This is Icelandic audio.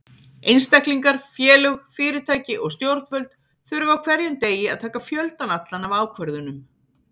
Einstaklingar, félög, fyrirtæki og stjórnvöld þurfa á hverjum degi að taka fjöldann allan af ákvörðunum.